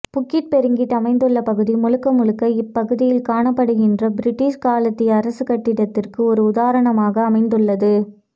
Bukit Peringgit அமைந்துள்ள பகுதி முழுக்க முழுக்க இப்பகுதியில் காணப்படுகின்ற பிரிட்டிஷ் காலத்திய அரசுக்கட்டடத்திற்கு ஒரு உதாரணமாக அமைந்துள்ளது